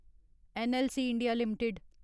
NLC India limited